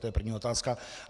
To je první otázka.